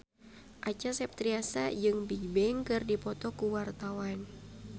Acha Septriasa jeung Bigbang keur dipoto ku wartawan